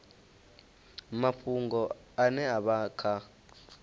mafhungo ane a vha kha